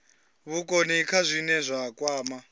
vhukoni kha zwine zwa kwama